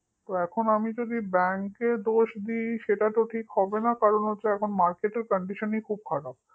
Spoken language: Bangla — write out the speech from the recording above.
তো এখন যদি আমি bank র দোষ দিই সেটা তো ঠিক হবে না কারণ market র condition খুব খারাপ